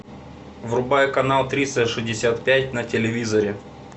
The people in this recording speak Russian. врубай канал триста шестьдесят пять на телевизоре